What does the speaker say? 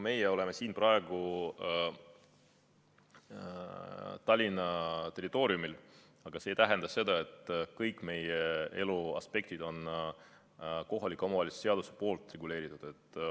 Meie oleme praegu Tallinna territooriumil, aga see ei tähenda, et kõik meie elu aspektid on kohaliku omavalitsuse seadusega reguleeritud.